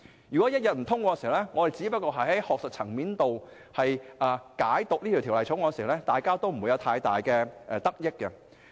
如果不通過《條例草案》，我們只流於在學術層面上對它作出解讀，各方都不會有太大得益。